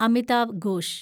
Amitav gosh